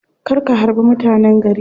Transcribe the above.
Kar ka harbi mutanen gari.